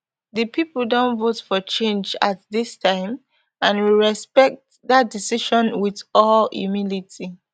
di pipo don vote for change at dis time and we respect dat decision wit all humility